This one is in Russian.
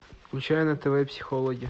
включай на тв психологи